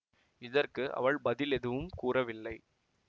இதற்கு அவள் பதில் எதுவும் கூறவில்லை